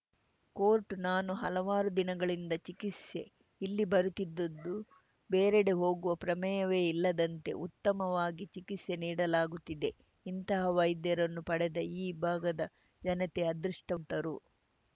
court ನಾನು ಹಲವಾರು ದಿನಗಳಿಂದ ಚಿಕಿತ್ಸೆ ಇಲ್ಲಿ ಬರುತ್ತಿದ್ದದ್ದು ಬೇರೆಡೆ ಹೋಗುವ ಪ್ರಮೇಯವೇ ಇಲ್ಲದಂತೆ ಉತ್ತಮವಾಗಿ ಚಿಕಿತ್ಸೆ ನೀಡಲಾಗುತ್ತಿದೆ ಇಂತಹ ವೈದ್ಯರನ್ನು ಪಡೆದ ಈ ಭಾಗದ ಜನತೆ ಅದೃಷ್ಟವಂತರು